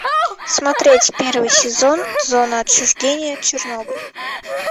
смотреть первый сезон зона отчуждения чернобыль